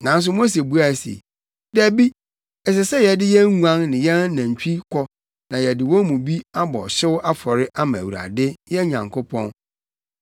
Nanso Mose buae se, “Dabi, ɛsɛ sɛ yɛde yɛn nguan ne yɛn anantwi kɔ na yɛde wɔn mu bi bɔ ɔhyew afɔre ma Awurade, yɛn Nyankopɔn.